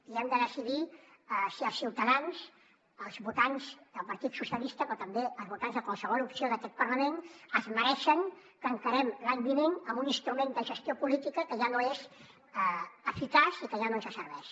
i hem de decidir si els ciutadans els votants del partit socialistes però també els votants de qualsevol opció d’aquest parlament es mereixen que encarem l’any vinent amb un instrument de gestió política que ja no és eficaç i que ja no ens serveix